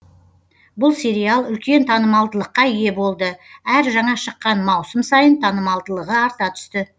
бұл сериал үлкен танымалдылыққа ие болды әр жаңа шыққан маусым сайын танымалдылығы арта түсті